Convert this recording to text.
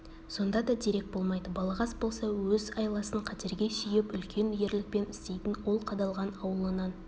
сонда да дерек болмайды балағаз болса өз айласын қатерге сүйеп үлкен ерлікпен істейтін ол қадалған аулынан